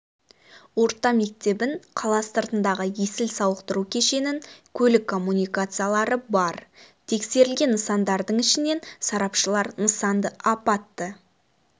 орта мектебін қала сыртындағы есіл сауықтыру кешенін көлік коммуникациялары бар тексерілген нысандардың ішінен сарапшылар нысанды апатты